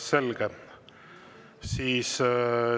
Selge.